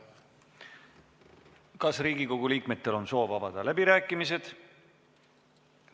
Kas Riigikogu liikmetel on soovi avada läbirääkimised?